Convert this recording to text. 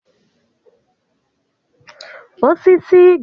Osisi garalụ ọnụ n'ahịa